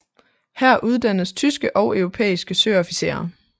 Her uddannes tyske og europæiske søofficerer